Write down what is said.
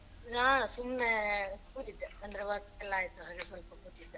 ನಾನ ಸುಮ್ನೆ ಕೂತಿದ್ದೆ ಅಂದ್ರೆ work ಯೆಲ್ಲ ಆಯ್ತು ಹಾಗೆ ಸ್ವಲ್ಪ ಕೂತಿದ್ದೆ.